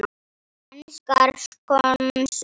Enskar skonsur